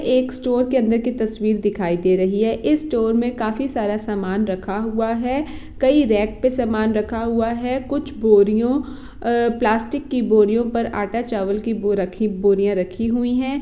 एक स्टोर के अंदर की तस्वीर दिखाई दे रही है इस स्टोर मे काफी सारा सामान रखा हुआ है कई रेट पे सामान रखा हुआ है कुछ बोरियों अअअअ प्लास्टिक की बोरियों पर आटा चावल की वो रखी बो-- बोरिया रखी हुई है।